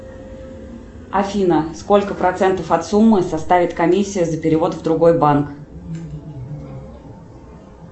афина сколько процентов от суммы составит комиссия за перевод в другой банк